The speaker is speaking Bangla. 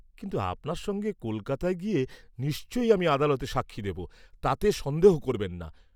কিন্তু আপনার সঙ্গে কলকাতায় গিয়ে নিশ্চয়ই আমি আদালতে সাক্ষী দেব, তাতে সন্দেহ করবেন না।